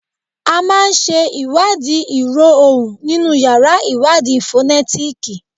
A máa ń sẹ́ ìwádìí ìró ohùn nínú yàrá ìwádìí fonetiki